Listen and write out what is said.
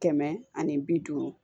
Kɛmɛ ani bi duuru